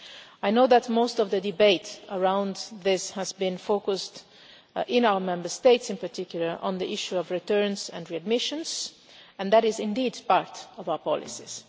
I know that most of the debate around this has been focused, in our Member States in particular, on the issue of returns and readmissions, and that is indeed part of our policies.